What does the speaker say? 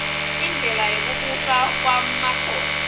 indlela yekubusa kwmakhosi